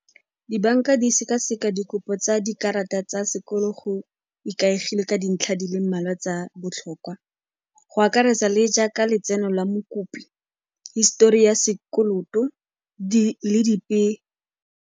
Dibanka di sekaseka dikopo tsa dikarata tsa sekoloto go ikaegile ka dintlha di le mmalwa tsa botlhokwa, go akaretsa le jaaka letseno la mokopi, histori ya sekoloto, di le dipe.